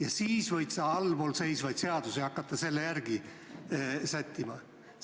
Alles pärast seda võid allpool seisvaid seadusi hakata selle järgi sättima.